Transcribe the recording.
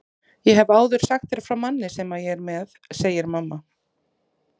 Ég hef áður sagt þér frá manni sem ég er með, segir mamma.